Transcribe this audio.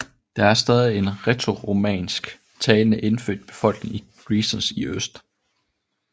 Der er stadig en lille rætoromansk talende indfødt befolkning i Grisons i øst